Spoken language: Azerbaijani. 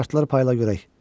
Kartları payla görək.